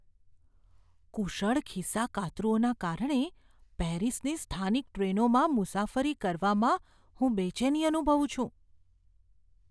કુશળ ખિસ્સાકાતરુંઓના કારણે પેરિસની સ્થાનિક ટ્રેનોમાં મુસાફરી કરવામાં હું બેચેની અનુભવું છું.